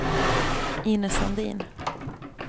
Inez Sandin